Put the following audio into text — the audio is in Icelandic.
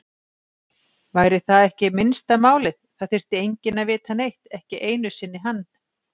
Væri það ekki minnsta málið, það þyrfti enginn að vita neitt, ekki einu sinni hann.